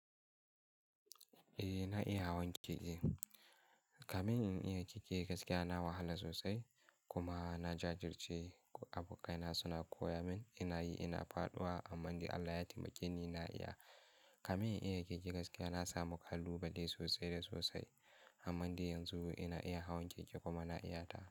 Eh na iya hawan keke. Kamin in iya keke gaskiya na wahala sosai kuma na jajirce abokai na suna koya min. Ina yi ina faɗuwa amma dai Allah ya taimake ni na iya. Kamin in iya keke gaskiya na samu kalubale sosai da sosai amma yanzu ina iya hawan keke kuma na iyata.